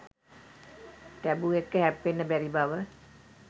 taboo එක්ක හැප්පෙන්න බැරි බව